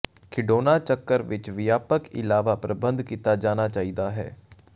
ਖਿਡੌਣਾ ਚੱਕਰ ਵਿੱਚ ਵਿਆਪਕ ਇਲਾਵਾ ਪ੍ਰਬੰਧ ਕੀਤਾ ਜਾਣਾ ਚਾਹੀਦਾ ਹੈ